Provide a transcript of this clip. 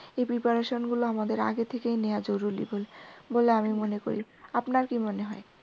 এই preparation গুলো আমাদের আগে থেকেই নেওয়া জরুরি বলে আমি মনে করি। আপনার কি মনে হয়?